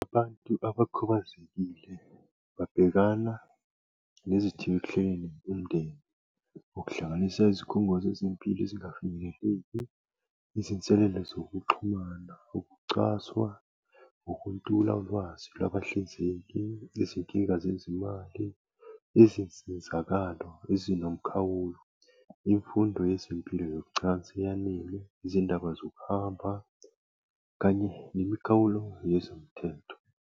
Abantu abakhubazekile babhekana nezithiyo ekuhleleni umndeni. Ukuhlanganisa izikhungo zezempilo ezingafinyeleleki, izinselele zokuxhumana kokucwaswa, ukuntula ulwazi lwabahlinzeki, izinkinga zezimali. Izinsizakalo ezinomkhawulo, imfundo yezempilo yocansi eyanele, izindaba zokuhamba kanye nemikhawulo yezomthetho.